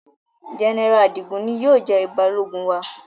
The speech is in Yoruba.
General Adigun ni yóò jẹ balogun wa